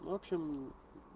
в общем